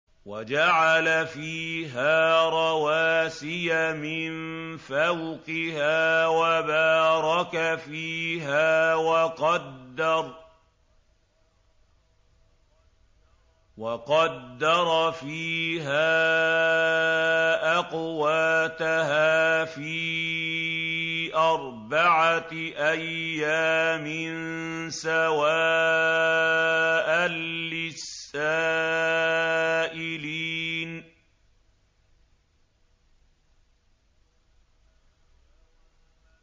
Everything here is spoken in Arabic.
وَجَعَلَ فِيهَا رَوَاسِيَ مِن فَوْقِهَا وَبَارَكَ فِيهَا وَقَدَّرَ فِيهَا أَقْوَاتَهَا فِي أَرْبَعَةِ أَيَّامٍ سَوَاءً لِّلسَّائِلِينَ